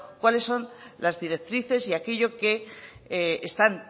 cuáles son las directrices y aquello que están